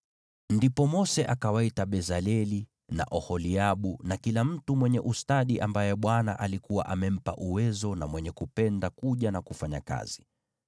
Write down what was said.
Ndipo Mose akawaita Bezaleli na Oholiabu na kila mtu mwenye ustadi ambaye Bwana alikuwa amempa uwezo na mwenye kupenda kuja na kufanya kazi.